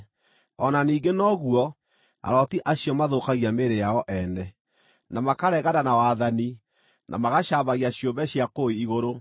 O na ningĩ noguo, arooti acio mathũkagia mĩĩrĩ yao ene, na makaregana na wathani, na magacambagia ciũmbe cia kũu igũrũ.